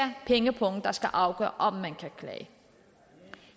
pengepungen der skal afgøre om man kan klage